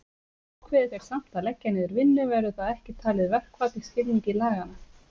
Ákveði þeir samt að leggja niður vinnu verður það ekki talið verkfall í skilningi laganna.